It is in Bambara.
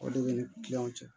O de ni kiliyanw cɛ